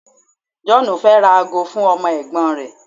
John fẹ ra ago fún ọmọ ègbón rẹ